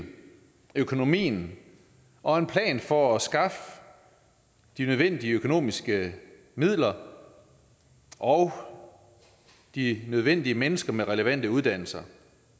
økonomien og en plan for at skaffe de nødvendige økonomiske midler og de nødvendige mennesker med de relevante uddannelser